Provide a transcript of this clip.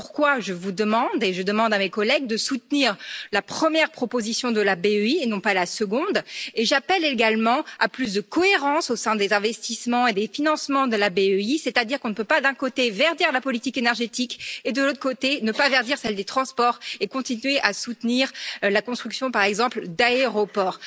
C'est pourquoi je vous demande, et je demande à mes collègues, de soutenir la première proposition de la BEI et non pas la seconde. J'appelle également à plus de cohérence au sein des investissements et des financements de la BEI. On ne peut pas, d'un côté, verdir la politique énergétique et, de l'autre côté, ne pas verdir celle des transports et continuer à soutenir la construction, par exemple, d'aéroports.